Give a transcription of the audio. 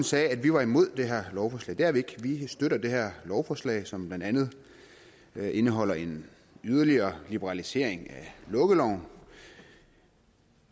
sagde at vi var imod det her lovforslag det er vi ikke vi støtter det her lovforslag som blandt andet indeholder en yderligere liberalisering af lukkeloven